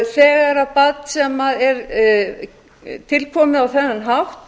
þegar barn sem er til komið á þennan hátt